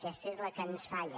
aquesta és la que ens falla